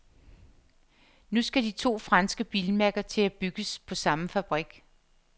Nu skal de to franske bilmærker til at bygges på samme fabrik.